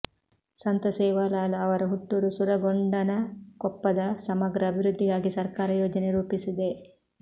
ಸಂತ ಸೇವಾಲಾಲ್ ಅವರ ಹುಟ್ಟೂರು ಸುರಗೊಂಡನಕೊಪ್ಪದ ಸಮಗ್ರ ಅಭಿವೃದ್ಧಿಗಾಗಿ ಸರ್ಕಾರ ಯೋಜನೆ ರೂಪಿಸಿದೆ